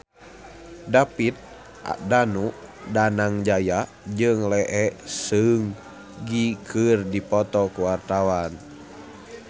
David Danu Danangjaya jeung Lee Seung Gi keur dipoto ku wartawan